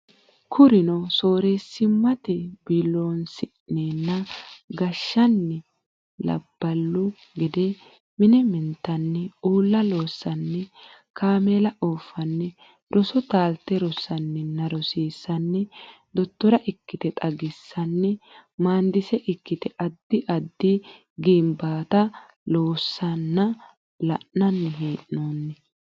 Kurino soorreessimmate biiloonsineenna gashshanni labballu gede mine mintanni uulla loossanni kaameela ooffanni roso taalte rosanninna rosiissanni dottora ikkite xagissanni maandise ikkite addi addi ginbaata loosiissanna la nanni hee noonni.